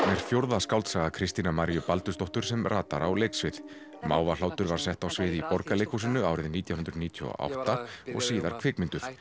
er fjórða skáldsaga Kristínar Baldursdóttur sem ratar á leiksvið Mávahlátur var sett á svið í Borgarleikhúsinu árið nítján hundruð níutíu og átta og síðar kvikmynduð